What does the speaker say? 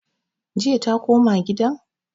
Jiya ta koma gidan?